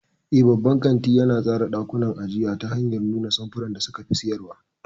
Eh, babban kanti yana tsara ɗakunan ajiya ta hanyar nuna samfuran da suka fi siyarwa.